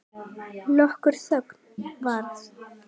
Nokkur þögn varð.